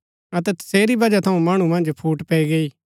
अतै तसेरी बजह थऊँ मणु मन्ज फूट पैई गई